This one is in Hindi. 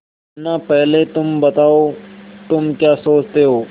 मुन्ना पहले तुम बताओ तुम क्या सोचते हो